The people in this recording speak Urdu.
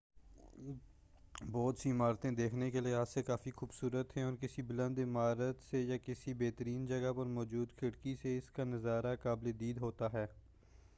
بہت سی عمارتیں دیکھنے کے لحاظ سےکافی خوبصورت ہیں اور کسی بلند عمارت سے یا کسی بہترین جگہ پر موجود کھڑکی سے اس کا نظارہ قابل دید ہوتا ہے